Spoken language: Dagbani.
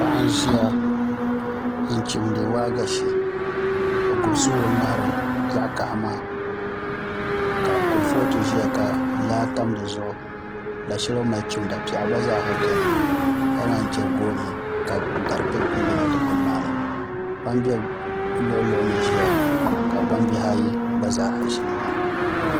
Paɣa n ʒiya n chimdi waagashe o gbubi subili ŋmahari zaɣ kaha maa ka kurifooti ʒiya ka laa tam di zuɣu la shɛli o ni mali chimda piɛɣu gba zaa ha biɛni ka naan chɛ gooni ka dari pili pili yina dikpuni maa ni kpam bɛ luɣuluɣu ni ʒiya ka gbambihi ayi gba zaaha ʒi nimaa ni